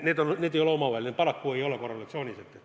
Need paraku ei ole omavahel korrelatsioonis.